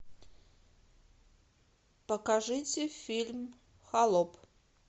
покажите фильм холоп